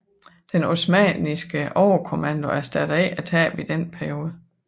Den osmanniske overkommando erstattede ikke tabene i denne periode